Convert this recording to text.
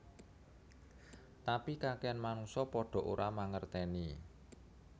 Tapi kakehan manungsa padha ora mangerteni